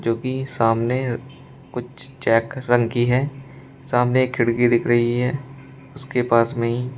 जो कि सामने कुछ चेक रंग की है सामने एक खिड़की दिख रही है उसके पास में ही --